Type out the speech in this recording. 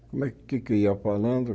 Como é o que é que eu ia falando?